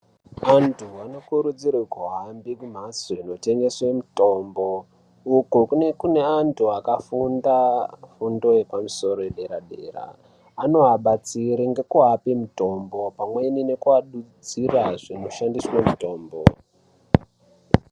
Vantu vanokurudzirwe kuhambe kumhatso dzinotengeswe mitombo uko kunenge kune antu akafunda fundo yepamusoro yepaderadera anoabatsire ngekuape mitombo pamweni nekuadudzira zvinoshandiswe mitombo .